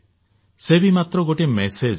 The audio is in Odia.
ସେ ବି ମାତ୍ର ଗୋଟିଏ ମେସେଜରେ